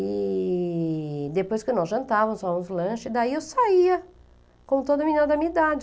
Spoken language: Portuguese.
E depois que nós jantávamos, fazíamos o lanche, daí eu saía, como toda menina da minha idade.